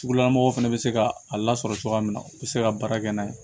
Sugula mɔgɔw fɛnɛ bɛ se ka a lasɔrɔ cogoya min na u bɛ se ka baara kɛ n'a ye